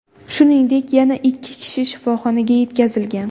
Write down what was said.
Shuningdek, yana ikki kishi shifoxonaga yetkazilgan.